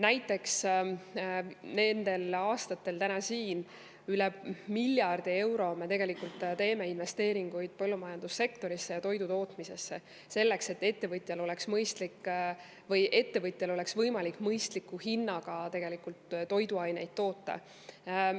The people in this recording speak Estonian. Näiteks teeme me tegelikult nendel aastatel üle miljardi euro eest investeeringuid põllumajandussektorisse, sealhulgas toidutootmisesse, selleks et ettevõtjal oleks võimalik mõistliku hinnaga toiduaineid toota.